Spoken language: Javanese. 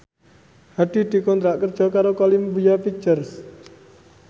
Hadi dikontrak kerja karo Columbia Pictures